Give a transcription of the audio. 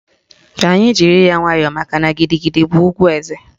Ka anyị jiri ya nwayọọ makana gidigidi bụ ùgwù eze